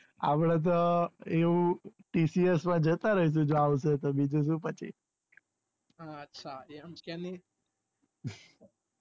અપડે તો એવું TCS મા જતા રહીશુ જો આવશે તો બીજું શુ પછી